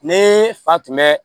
Ne fa tun bɛ